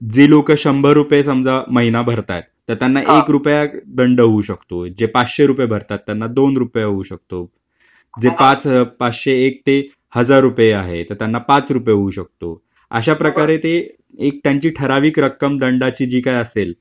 तर मग जे लोकं शंभर रुपये समजा महिना भरताय तर त्यांना एक रुपया दंड होऊ शकतो. जे पाचशे रुपये भरतात त्यांना दोन रुपये होऊ शकतो. जे पाचशे एक ते हजार रुपये आहेत त्यांना पाच रुपये होऊ शकतो. अशाप्रकारे एक त्यांची ठराविक रक्कम दंडाची जी काही असेल,